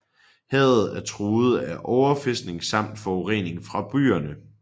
Havet er truet af overfiskning samt forurening fra byerne